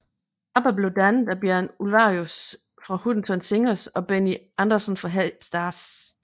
ABBA blev dannet af Björn Ulvaeus fra Hootenanny Singers og Benny Andersson fra Hep Stars